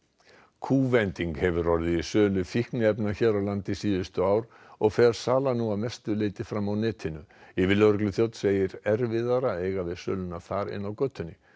kúvending hefur orðið í sölu fíkniefna hér á landi síðustu ár og fer salan nú að mestu leyti fram á netinu yfirlögregluþjónn segir erfiðara að eiga við söluna þar en á götunni